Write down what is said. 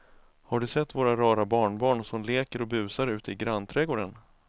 Har du sett våra rara barnbarn som leker och busar ute i grannträdgården!